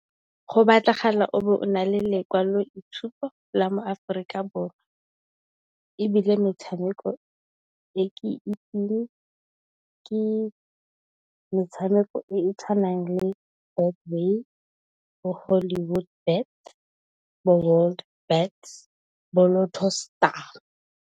Go batlagala o be o na le lekwalo itshupo la mo Aforika Borwa. Ebile, metshameko e ke itseng ke metshameko e e tshwanang le Betway, bo Hollywood Bet, bo World bet bo Lotto Star.